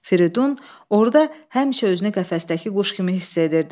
Firidun orda həmişə özünü qəfəsdəki quş kimi hiss edirdi.